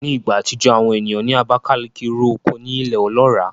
Ní ìgbà àtijọ́, àwọn ènìyàn ní Abakalaki ro oko ní ilẹ̀ ọlọ́ràá